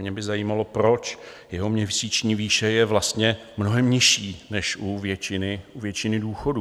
Mě by zajímalo, proč jeho měsíční výše je vlastně mnohem nižší než u většiny důchodů.